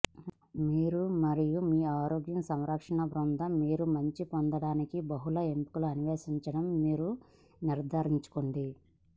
మీరు మరియు మీ ఆరోగ్య సంరక్షణ బృందం మీరు మంచి పొందడానికి బహుళ ఎంపికలు అన్వేషించడం నిర్ధారించుకోండి